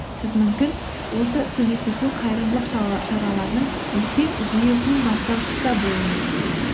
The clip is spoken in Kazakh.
сіз мүмкін осы көмектесу қайырымдылық шараларының үлкен жүйесінің бастаушысы да болуыңыз мүмкін